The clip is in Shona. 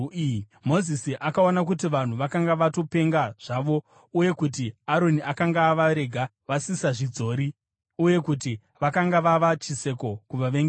Mozisi akaona kuti vanhu vakanga vatopenga zvavo uye kuti Aroni akanga avarega vasisazvidzori uye kuti vakanga vava chiseko kuvavengi vavo.